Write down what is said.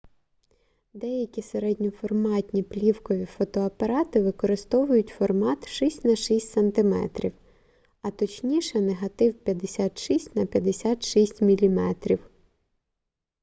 деякі середньоформатні плівкові фотоапарати використовують формат 6 на 6 см а точніше негатив 56 на 56 мм